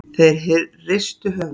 Þeir hristu höfuðið.